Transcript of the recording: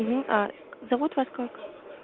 а зовут вас как